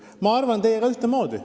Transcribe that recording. Ma arvan teiega ühtemoodi.